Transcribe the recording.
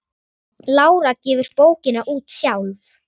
Lára gefur bókina út sjálf.